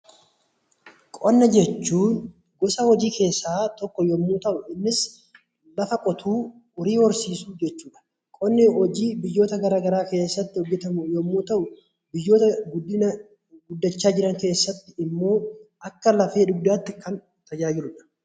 Qonna jechuun gosa hojii keessaa tokko yommuu ta'u, innis lafa qotuu horii horsiisuu jechuudha. Qonni hojii biyyoota gara garaa keessatti hojjetamu yommuu ta'u, biyyoota guddina guddachaa jiran keessatti immoo akka lafee dugdaatti kan tajaajiludha.